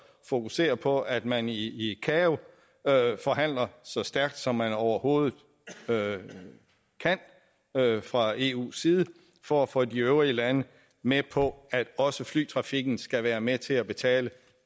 fokusere på at man i icao forhandler så stærkt som man overhovedet kan fra eus side for at få de øvrige lande med på at også flytrafikken skal være med til at betale